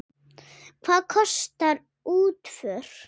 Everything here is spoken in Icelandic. Hvað kostar útför?